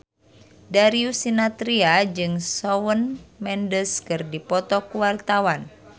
Darius Sinathrya jeung Shawn Mendes keur dipoto ku wartawan